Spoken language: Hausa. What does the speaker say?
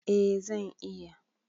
A zan iya